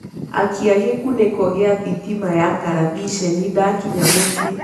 akĩa gikuniko gia thitima ya karavĩshenĩ ndakĩnya mũcĩĩ